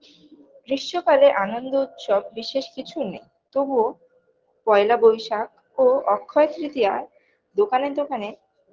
গ্রীস্ম কালের আনন্দ উৎসব বিশেষ কিছু নেই তবুও পয়লা বৈশাখ ও অক্ষয় তৃতীয়া দোকানে দোকানে